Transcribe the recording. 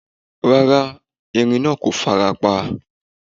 Rárá, erin naa ko farapa